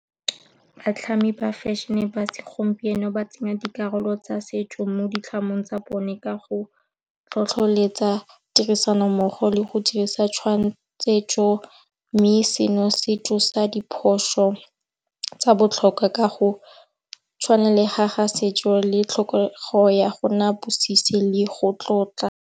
Batlhami ba fašhene ba segompieno ba tsenya dikarolo tsa setso mo ditlhamong tsa bone ka go tlhotlholetsa tirisanommogo le go dirisa mme seno se tsosa diphoso tsa botlhokwa ka go tshwana le ga ga setso le tlhokego ya gona bosisi le go tlotla.